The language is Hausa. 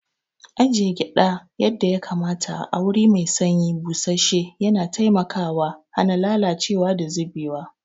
Ajiye gyada yadda ya kamata a wuri mai sanyi, busasshen yana taimakawa hana lalacewa da zubewa.